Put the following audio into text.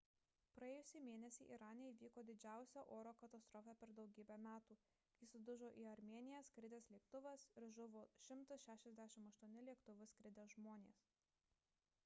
praėjusį mėnesį irane įvyko didžiausia oro katastrofa per daugybę metų kai sudužo į armėniją skridęs lėktuvas ir žuvo 168 lėktuvu skridę žmonės